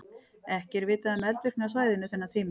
Ekki er vitað um eldvirkni á svæðinu þennan tíma.